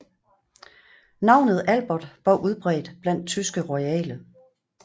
Navnet Albert var udbredt blandt tyske royale